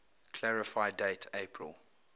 clarify date april